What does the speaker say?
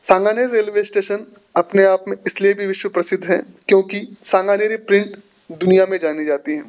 railway station अपने आप मे इसलिए भी विश्व प्रसिद्ध है क्योंकि प्रिंट दुनिया मे जानी जाती --